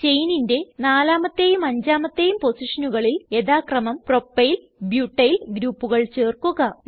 ചെയിനിന്റെ നാലാമത്തേയും അഞ്ചാമത്തേയും പൊസിഷനുകളിൽ യഥാക്രമം പ്രൊപ്പൈൽ ബ്യൂട്ടിൽ ഗ്രൂപ്പുകൾ ചേർക്കുക